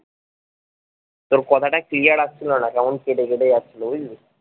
তোর কথা টা clear আসছিলো না কেমন কেটে কেটে যাচ্ছিলো বুঝলি।